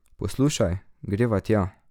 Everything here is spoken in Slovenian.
Poslušaj, greva tja.